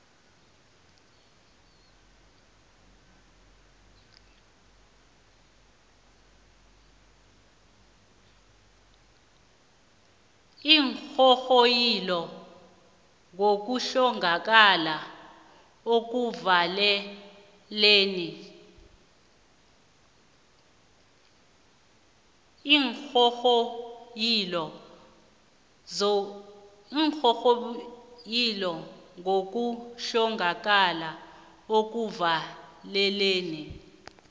iinghonghoyilo ngokuhlongakala ekuvalelweni